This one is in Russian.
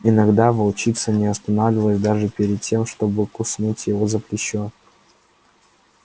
иногда волчица не останавливалась даже перед тем чтобы куснуть его за плечо